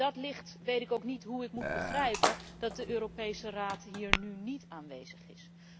In dat licht weet ik ook niet hoe ik moet begrijpen dat de Europese Raad hier nu niet aanwezig is.